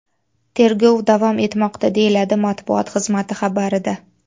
Tergov davom etmoqda”, deyiladi matbuot xizmati xabarida.